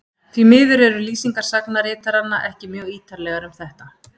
Því miður eru lýsingar sagnaritaranna ekki mjög ýtarlegar um þetta.